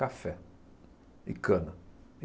Café e cana.